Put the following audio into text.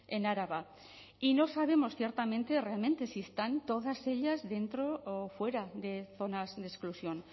en araba y no sabemos ciertamente realmente si están todas ellas dentro o fuera de zonas de exclusión